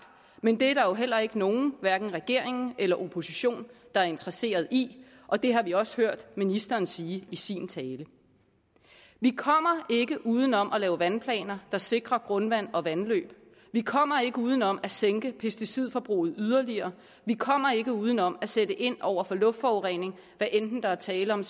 men det er der jo heller ikke nogen hverken regeringen eller oppositionen der er interesseret i og det har vi også hørt ministeren sige i sin tale vi kommer ikke uden om at lave vandplaner der sikrer grundvand og vandløb vi kommer ikke uden om at sænke pesticidforbruget yderligere vi kommer ikke uden om at sætte ind over for luftforurening hvad enten der er tale om